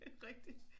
Det rigtig